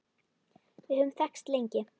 Við höfum þekkst lengi.